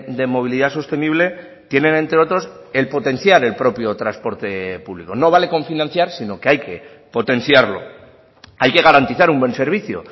de movilidad sostenible tienen entre otros el potenciar el propio transporte público no vale con financiar sino que hay que potenciarlo hay que garantizar un buen servicio